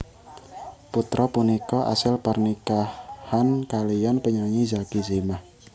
Putra punika asil pernikahan kaliyan penyanyi Zacky Zimah